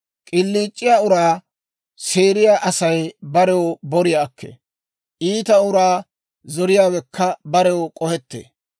K'iliic'iyaa uraa seeriyaa Asay barew boriyaa akkee; iita uraa zoriyaawekka barew k'ohettee.